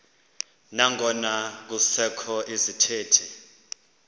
nangona kusekho izithethi